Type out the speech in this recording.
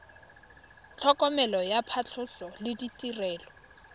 tlhokomelo ya phatlhoso le ditirelo